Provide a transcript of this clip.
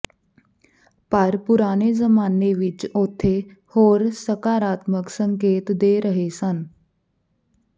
ਪਰ ਪੁਰਾਣੇ ਜ਼ਮਾਨੇ ਵਿਚ ਉੱਥੇ ਹੋਰ ਸਕਾਰਾਤਮਕ ਸੰਕੇਤ ਦੇ ਰਹੇ ਸਨ